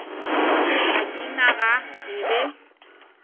ka ge naga e be